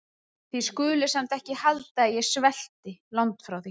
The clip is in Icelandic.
Þið skuluð samt ekki halda að ég svelti- langt því frá.